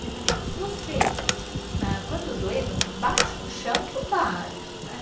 E eu falei, se você, quando doer, você bate no chão que eu paro. Né?